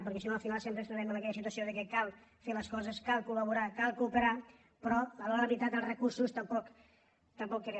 perquè si no al final sempre ens trobem amb aquella situació que cal fer les coses cal col·laborar cal cooperar però a l’hora de la veritat els recursos tampoc arriben